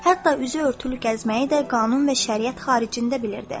Hətta üzü örtülü gəzməyi də qanun və şəriət xaricində bilirdi.